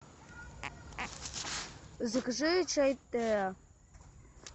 закажи чай теа